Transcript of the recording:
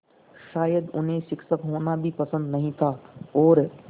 शायद उन्हें शिक्षक होना भी पसंद नहीं था और